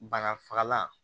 Banafagalan